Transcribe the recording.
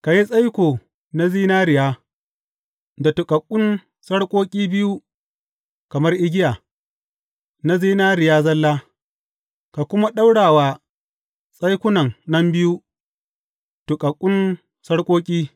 Ka yi tsaiko na zinariya da tuƙaƙƙun sarƙoƙi biyu kamar igiya, na zinariya zalla, ka kuma ɗaura wa tsaikunan nan biyu tuƙaƙƙun sarƙoƙi.